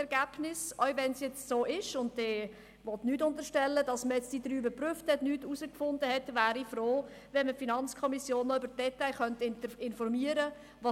Selbst wenn es jetzt so ist – ich will nichts unterstellen –, dass man die drei jetzt untersucht und dabei nichts herausgefunden hat, wäre ich froh, wenn man die FiKo informieren könnte: